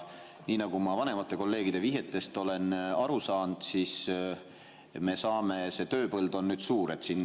Nii nagu ma vanemate kolleegide vihjetest olen aru saanud, siis tööpõld on nüüd suur.